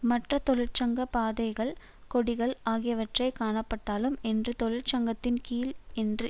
மற்ற தொழிற்சங்க பதாகள் கொடிகள் ஆகியவை காணப்பட்டாலும் என்று தொழிற்சங்கத்தின் கீழ் என்று